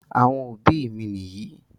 Àwọn òbí mi nìyí.